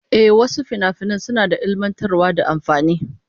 Ehh, wasu finafinan suna da ilmantarwa da amfani